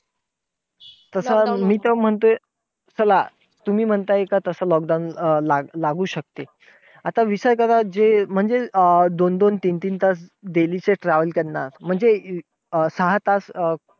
तसं मी तर म्हणतोय, चला तुम्ही म्हणताय तसं lockdown लागू शकते. आता विचार करा, जे म्हणजे जे दोन दोन तीन तीन तास daily चे travel करणार. म्हणजे सहा तास अं